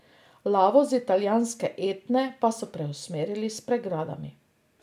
Lavo z italijanske Etne pa so preusmerjali s pregradami.